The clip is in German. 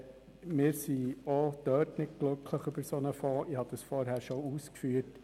Wir sind auch da nicht glücklich über einen solchen Fonds.